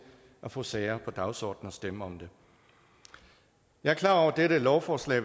at få sager på dagsordenen og stemme om det jeg er klar over at dette lovforslag